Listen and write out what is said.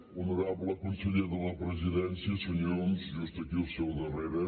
honorable conseller de la presidència senyor homs just aquí al seu darrere